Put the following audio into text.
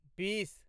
बीस